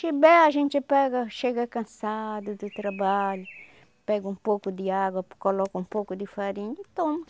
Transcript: Chibé a gente pega, chega cansado do trabalho, pega um pouco de água, coloca um pouco de farinha e toma.